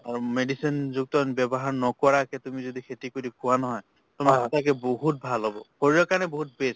আৰু medicine যুক্ত ব্যৱহাৰ নকৰাকে তুমি যদি খেতি কৰি খোৱা নহয় তোমাৰ ছাগে বহুত ভাল হ'ব শৰীৰ কাৰণে বহুত best